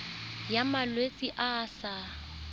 ya malwetse a a sa